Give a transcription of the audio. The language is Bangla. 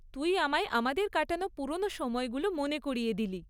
তুই আমায় আমাদের কাটানো পুরোনো সময়গুলো মনে করিয়ে দিলি।